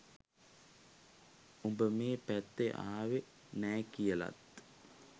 උඹ මේ පැත්තෙ ආවෙ නෑ කියලත්.